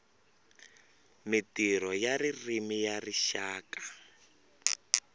mintirho ya ririmi ya rixaka